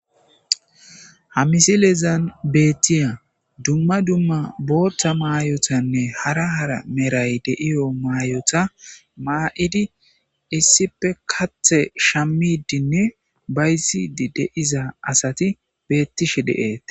Ha missilezan betiya boththa mayozzanne hara hara qomoy de'iya mayotta maydi issippe kaththe shamidinne bayzidi diza asat betishin de'ettes.